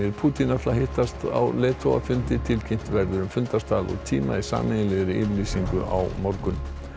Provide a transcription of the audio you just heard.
Pútín ætla að hittast á leiðtogafundi tilkynnt verður um fundarstað og tíma í sameiginlegri yfirlýsingu á morgun